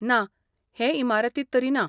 ना, हे इमारतींत तरी ना.